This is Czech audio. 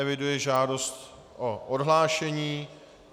Eviduji žádost o odhlášení.